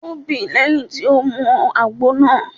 O bí lẹ́yìn tó mu àgbo náà.